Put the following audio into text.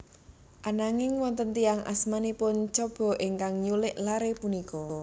Ananging wonten tiyang asmanipun Chaba ingkang nyulik lare punika